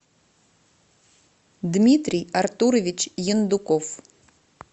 дмитрий артурович ендуков